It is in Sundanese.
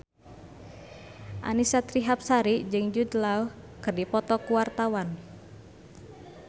Annisa Trihapsari jeung Jude Law keur dipoto ku wartawan